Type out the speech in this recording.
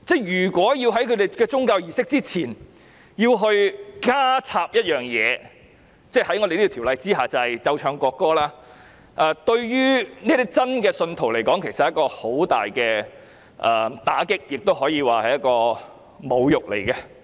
如果在他們的宗教儀式之前要加插一件事——在《條例草案》下，便是奏唱國歌——對於他們是一個很大的打擊，也可以說是侮辱。